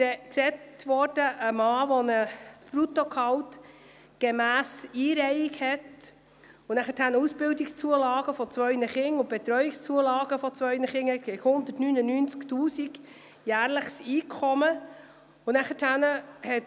Es wurde gesagt, dass ein Mann mit einem Bruttogehalt gemäss Einreihung mit Ausbildungszulagen und Betreuungszulagen für zwei Kinder ein jährliches Einkommen von 199 000 Franken habe.